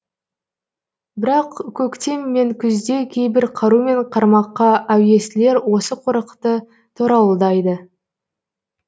бірақ көктем мен күзде кейбір қару мен қармаққа әуестілер осы қорықты торауылдайды